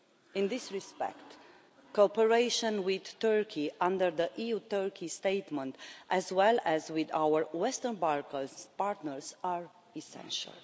In this respect, cooperation with Turkey under the EU-Turkey Statement, as well as with our Western Balkan partners, is essential.